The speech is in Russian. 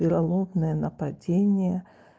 вероломное нападение